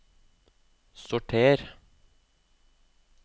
sorter